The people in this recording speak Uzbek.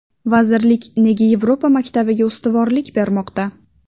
Vazirlik nega Yevropa maktabiga ustuvorlik bermoqda?